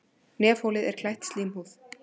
Nefholið er klætt slímhúð.